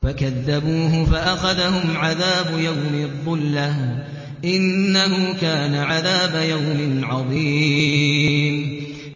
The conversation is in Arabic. فَكَذَّبُوهُ فَأَخَذَهُمْ عَذَابُ يَوْمِ الظُّلَّةِ ۚ إِنَّهُ كَانَ عَذَابَ يَوْمٍ عَظِيمٍ